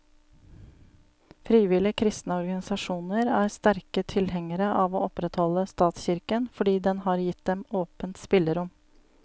Frivillige kristne organisasjoner er sterke tilhengere av å opprettholde statskirken, fordi den har gitt dem åpent spillerom.